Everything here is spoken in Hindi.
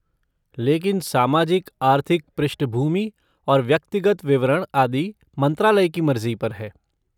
लेकिन सामाजिक आर्थिक पृष्ठभूमि और व्यक्तिगत विवरण आदि मंत्रालय की मर्जी पर है।